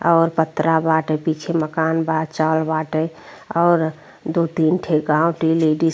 और पत्रा बाटे। पीछे मकान बा। चाल बाटे और दू तीन ठे गाँव टी लेडीज --